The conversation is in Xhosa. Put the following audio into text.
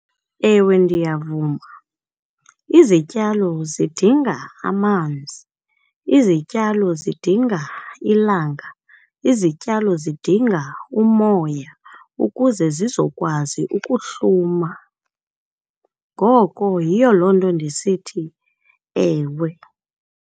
Ewe, ndiyavuma. Izityalo zidinga amanzi, izityalo zidinga ilanga, izityalo zidinga umoya ukuze zizokwazi ukuhluma. Ngoko yiyo loo nto ndisithi ewe.